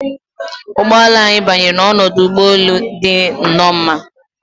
Ụgbọ ala anyị banyere n'ọdụ ụgbọ elu dị nnọọ mma